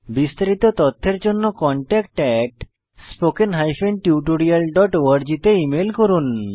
বিস্তারিত তথ্যের জন্য contactspoken tutorialorg তে ইমেল করুন